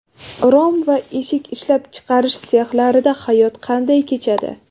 Rom va eshik ishlab chiqarish sexlarida hayot qanday kechadi?.